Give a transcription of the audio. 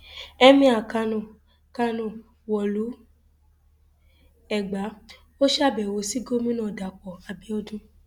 emir kánó kánó wọlú ẹgbà ó ṣàbẹwò sí gómìnà dapò abiodun